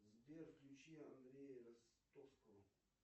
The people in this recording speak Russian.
сбер включи андрея ростовского